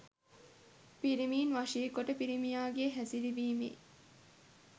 පිරිමින් වශීකොට පිරිමියා හැසිරවීමේ